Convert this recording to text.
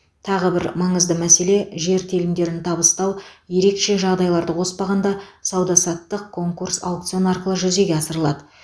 тағы бір маңызды мәселе жер телімдерін табыстау ерекше жағдайларды қоспағанда сауда саттық конкурс аукцион арқылы жүзеге асырылады